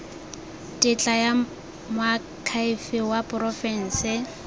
tetla ya moakhaefe wa porofense